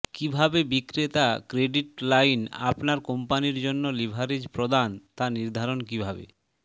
কিভাবে বিক্রেতা credit line আপনার কোম্পানির জন্য লিভারেজ প্রদান তা নির্ধারণ কিভাবে